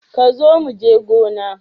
Kazo muje gona.